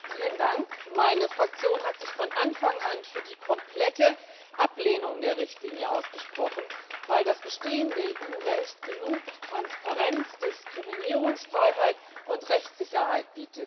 Herr Präsident! Meine Fraktion hat sich von Anfang an für die komplette Ablehnung der Richtlinie ausgesprochen, weil das bestehende EU Recht genug Transparenz, Diskriminierungsfreiheit und Rechtssicherheit bietet.